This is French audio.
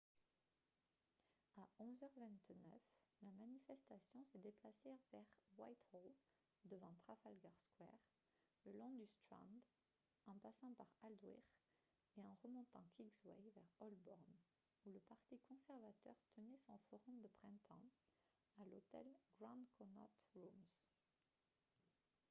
à 11 h 29 la manifestation s'est déplacée vers whitehall devant trafalgar square le long du strand en passant par aldwych et en remontant kingsway vers holborn où le parti conservateur tenait son forum de printemps à l'hôtel grand connaught rooms